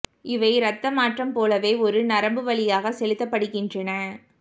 இவை ரத்த மாற்றம் போலவே ஒரு நரம்பு வழியாக செலுத்தப்படுகின்றன